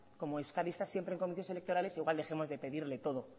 como euskadi está siempre en comicios electorales igual dejemos de pedirle todo